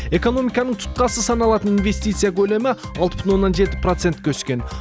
экономиканың тұтқасы саналатын инвестиция көлемі алты бүтін оннан жеті процентке өскен